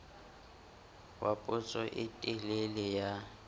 wa potso e telele ya